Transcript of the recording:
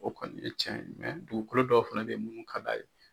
O kɔni ye cɛn ye dugukolo dɔw fana de ye munnu ka d'a ye.